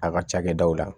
A ka cakɛdaw la